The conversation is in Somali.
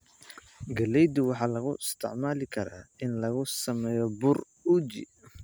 Galleyda waxaa loo isticmaali karaa in lagu sameeyo bur uji.